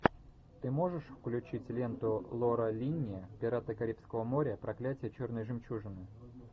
ты можешь включить ленту лора линни пираты карибского моря проклятие черной жемчужины